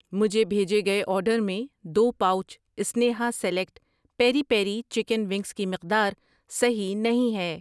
مجھے بھیجے گئے آرڈر میں دو pouch Sneha select peri peri chicken wings کی مقدار صحیح نہیں ہے۔